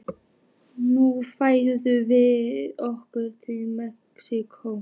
Nú færum við okkur til Mexíkó.